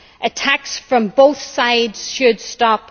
Attacks from both sides should stop.